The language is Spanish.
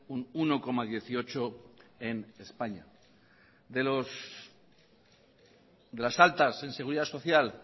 un uno coma dieciocho en españa de las altas en seguridad social